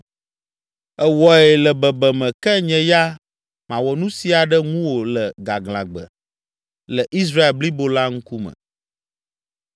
Èwɔe le bebeme ke nye ya mawɔ nu sia ɖe ŋuwò le gaglãgbe, le Israel blibo la ŋkume.’ ”